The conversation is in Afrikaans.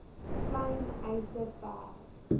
klein eise ver